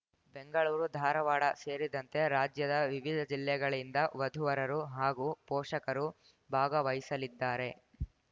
ಬೆಂಗಳೂರು ಧಾರವಾಡ ಸೇರಿದಂತೆ ರಾಜ್ಯದ ವಿವಿಧ ಜಿಲ್ಲೆಗಳಿಂದ ವಧುವರರು ಹಾಗೂ ಪೋಷಕರು ಭಾಗವಹಿಸಲಿದ್ದಾರೆ